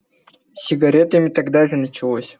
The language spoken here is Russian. с сигаретами тогда же началось